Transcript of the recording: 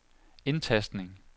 indtastning